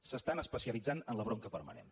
s’estan especialitzant en la bronca permanent